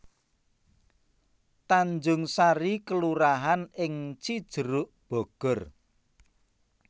Tanjung Sari kelurahan ing Cijeruk Bogor